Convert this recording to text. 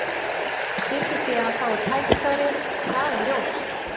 Það styttist í að hann fái tækifærið, það er ljóst.